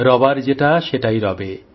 রইবার যেটা সেটাই রবে